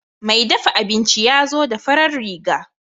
Mai dafa abinci yazo da farar riga.